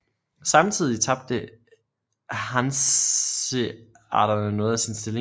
Samtidig tabte hanseaterne noget af sin stilling